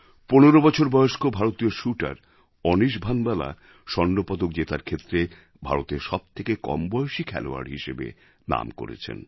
১৫ বছর বয়স্ক ভারতীয় শ্যুটার অনিশ ভানবালা স্বর্ণপদক জেতার ক্ষেত্রে ভারতের সব থেকে কম বয়সী খেলোয়াড় হিসেবে নাম করেছেন